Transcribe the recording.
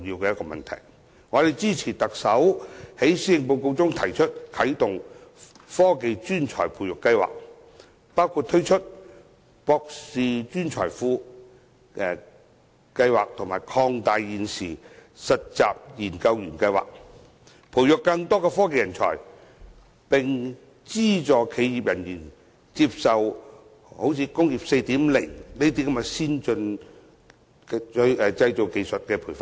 我們支持特首在施政報告中提出啟動"科技專才培育計劃"，包括推出"博士專才庫"計劃及擴大現時的"實習研究員計劃"，培育更多科技人才，並資助企業人員接受如"工業 4.0" 的先進製造技術培訓。